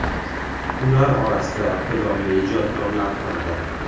Ular orasida iqtidorli ijodkorlar ham bor.